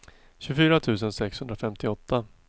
tjugofyra tusen sexhundrafemtioåtta